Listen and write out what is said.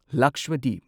Lakshadweep